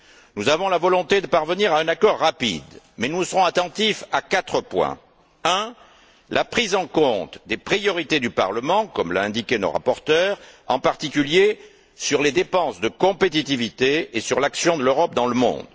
Nous avons la volonté de parvenir à un accord rapide mais nous serons attentifs à quatre points premièrement, la prise en compte des priorités du Parlement, comme l'ont indiqué nos rapporteurs, en particulier sur les dépenses de compétitivité et sur l'action de l'Europe dans le monde.